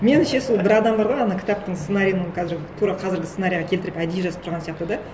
меніңше сол бір адам бар ғой ана кітаптың сценариін қазір тура қазіргі сценарийға келтіріп әдейі жазып тұрған сияқты да